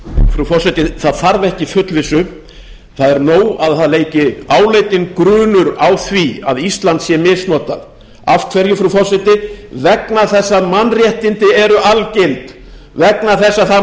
frú forseti það þarf ekki fullvissu það er nóg að það leiki áleitinn grunur á því að ísland sé misnotað af hverju frú forseti vegna þess að það